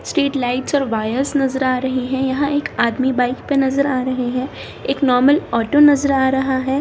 Street lights और wires नजर आ रहें हैं यहाँ एक आदमी बाइक पे नजर आ रहें हैं एक नॉर्मल ऑटो नजर आ रहा है।